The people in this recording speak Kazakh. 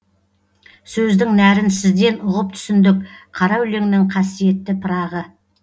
сөздін нәрін сізден ұғып түсіндік қара өлеңнің қасиетті пырағы